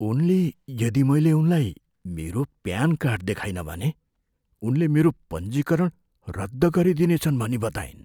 उनले यदि मैले उनलाई मेरो प्यान कार्ड देखाइनँ भने उनले मेरो पञ्जीकरण रद्द गरिदिने छन् भनी बताइन्।